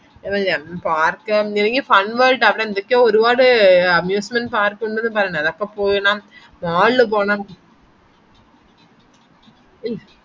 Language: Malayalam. park ചെറിയ fun ട്ടു അവിടെന്തൊക്കെയോ ഒരുപാട് amusment park ഉണ്ടെന്ന് പറഞ്ഞ അവിടേക്കോ പോയേണം mall പോണം